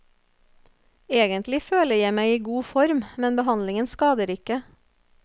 Egentlig føler jeg meg i god form, men behandlingen skader ikke.